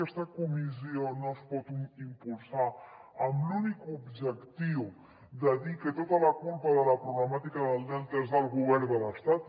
aquesta comissió no es pot impulsar amb l’únic objectiu de dir que tota la culpa de la problemàtica del delta és del govern de l’estat